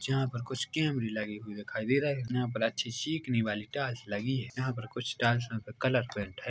जहाँ पर कुछ कैमेरे लगे हुए हुए दिखाई दे रहे है यहाँ पर अच्छी चिकनी वाली टाइल्स लगी है यहाँ पर कुछ टाइल्स पर कलर पेंट है।